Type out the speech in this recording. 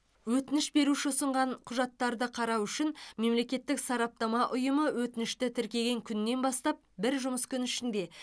өтініш беруші ұсынған құжаттарды қарау үшін мемлекеттік сараптама ұйымы өтінішті тіркеген күннен бастап бір жұмыс күні ішінде